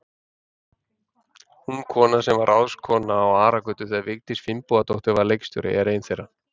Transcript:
Ung kona, sem var ráðskona á Aragötu þegar Vigdís Finnbogadóttir var leikhússtjóri, er ein þeirra.